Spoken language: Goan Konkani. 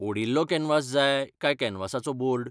ओडिल्लो कॅनवास जाय काय कॅनवासाचो बोर्ड?